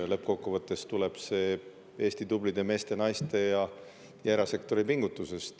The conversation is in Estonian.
Lõppkokkuvõttes tuleb see Eesti tublide meeste, naiste ja erasektori pingutusest.